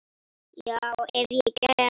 Já, ef ég get.